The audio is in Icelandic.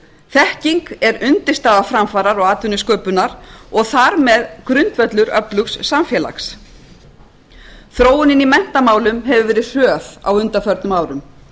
þekking er undirstaða framfara og atvinnusköpunar og þar með grundvöllur öflugs samfélags þróunin í menntamálum hefur verið hröð á undanförnum árum